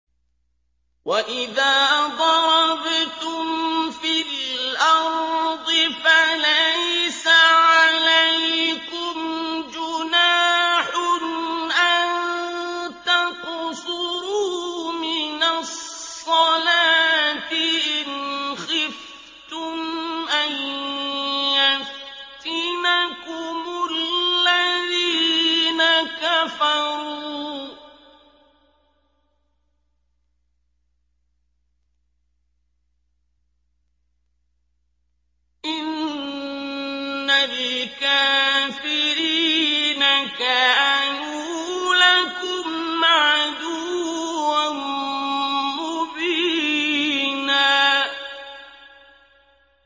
وَإِذَا ضَرَبْتُمْ فِي الْأَرْضِ فَلَيْسَ عَلَيْكُمْ جُنَاحٌ أَن تَقْصُرُوا مِنَ الصَّلَاةِ إِنْ خِفْتُمْ أَن يَفْتِنَكُمُ الَّذِينَ كَفَرُوا ۚ إِنَّ الْكَافِرِينَ كَانُوا لَكُمْ عَدُوًّا مُّبِينًا